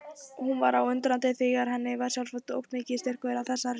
Hún var undrandi á því hvað henni sjálfri óx mikill styrkur á þessari stundu.